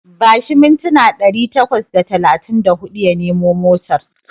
Bashi mintina ɗari takwas da talatin da huɗu ya nemo motar.